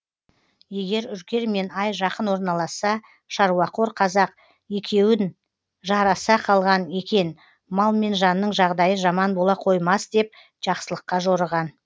егер үркер мен ай жақын орналасса шаруақор қазақ екеуі жараса қалған екен мал мен жанның жағдайы жаман бола қоймас деп жақсылыққа жорыған